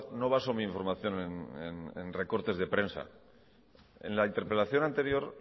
no baso mi información en recortes de prensa en la interpelación anterior